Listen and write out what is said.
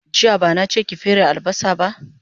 Jiya bana che ki fere albasa ba